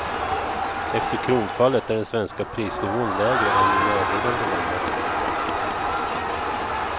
Efter kronfallet är den svenska prisnivån lägre än i närliggande länder.